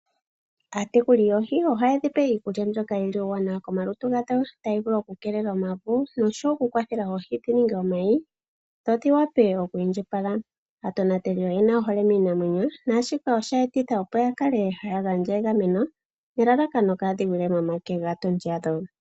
Aatekuli yoohi ohaye dhi pe iikulya mbyoka yi li iiwanawa komalutu gadho, tayi vulu oku keelela omavu noshowo oku kwathela oohi dhi ninge omayi dho dhi wape oku indjipala. Aatonateli oyena ohole miinamwenyo, naashika osha etitha opo ya kale haya gandja egameno nelalakano kaadhi gwile momake gaa tondi yadho.